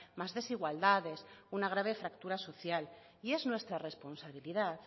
más desigualdades una grave fractura social y es nuestra responsabilidad